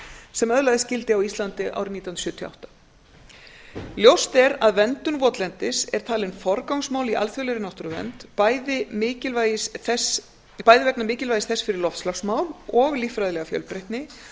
sem öðlaðist gildi á íslandi árið nítján hundruð sjötíu og átta ljóst er að verndun votlendis er talin forgangsmál í alþjóðlegri náttúruvernd bæði vegna mikilvægis þess fyrir loftslagsmál og líffræðilega fjölbreytni